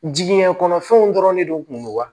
Jigiɲɛ kɔnɔfɛnw dɔrɔn de don kun don wa